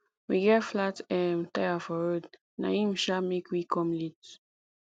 we get flat um tire for road na im um make we come late